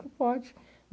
Pode.